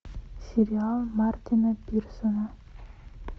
сериал мартина пирсона